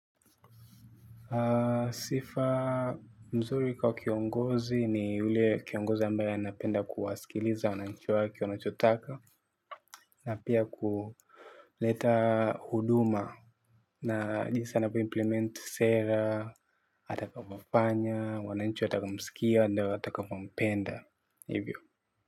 Sifa nzuri kwa kiongozi, ni ule kiongozi ambaye anapenda kuwasikiliza wananchi wake wanachotaka, na pia kuleta huduma na jinsi anavyo implement sera, atakapofanya, wananchi, wata msikia, na watakapo mpenda, hivyo.